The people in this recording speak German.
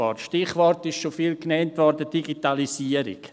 Das Stichwort wurde schon oft genannt: die Digitalisierung.